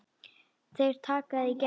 Þeir taka þig í gegn!